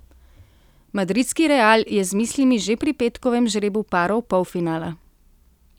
Madridski Real je z mislimi že pri petkovem žrebu parov polfinala.